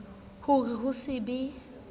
ho re ho se be